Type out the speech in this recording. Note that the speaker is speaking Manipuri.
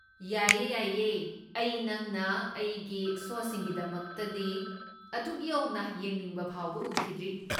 ꯌꯥꯏꯌꯦ ꯌꯥꯏꯌꯦ, ꯑꯩ ꯅꯪꯅ ꯑꯩꯒꯤ ꯁꯣꯁꯤꯡꯒꯤꯗꯃꯛꯇꯗꯤ ꯑꯗꯨꯛ ꯌꯧꯅ ꯌꯦꯡꯅꯤꯡꯕ ꯐꯥꯎꯕ ꯎꯈꯤꯗ꯭ꯔꯤ!